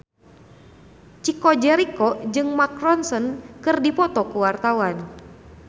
Chico Jericho jeung Mark Ronson keur dipoto ku wartawan